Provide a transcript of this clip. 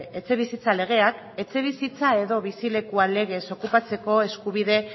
etxebizitza legeak etxebizitza edo bizilekua legez okupatzeko eskubide